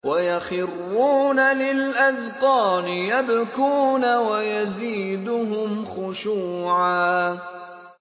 وَيَخِرُّونَ لِلْأَذْقَانِ يَبْكُونَ وَيَزِيدُهُمْ خُشُوعًا ۩